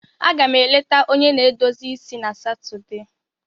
Aga m eleta onye na-edozi isi na Satọde